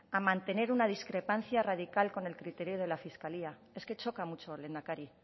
a mantener una discrepancia radical con el criterio de la fiscalía es que choca mucho lehendakari